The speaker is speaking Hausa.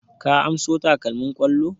Ka anso takalmin ƙwallo?